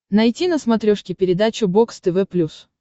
найти на смотрешке передачу бокс тв плюс